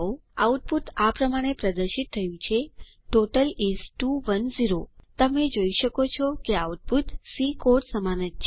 output આ પ્રમાણે પ્રદર્શિત થયું છે ટોટલ ઇસ 210 તમે જોઈ શકો છો કે આઉટપુટ સી કોડ સમાન જ છે